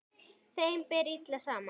Þeim ber illa saman.